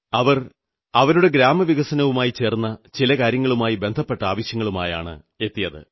അവർ അവരുടെ ഗ്രാമവികസനവുമായി ബന്ധപ്പെട്ട ചില ആവശ്യങ്ങളുമായിട്ടാണെത്തിയത്